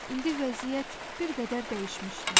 İndi vəziyyət bir qədər dəyişmişdi.